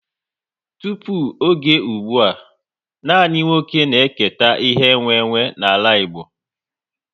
Tụpụ oge ụgbụa, nanị nwa oké na eketa ihe e nwe nwe n'ala Igbo